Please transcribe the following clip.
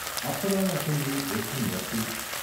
అప్పడాల assembly ఒట్టి మట్టి.